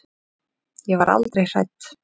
Ég var aldrei hrædd.